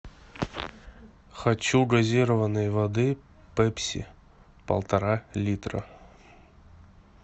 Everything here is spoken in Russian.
хочу газированной воды пепси полтора литра